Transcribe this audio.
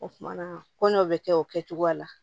O kumana ko n'o bɛ kɛ o kɛcogoya la